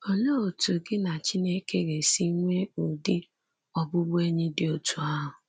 Olee otu gị na Chineke ga esi nwee ụdị ọbụbụenyị dị otú ahụ?